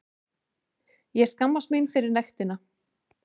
Ég skammast mín fyrir nektina.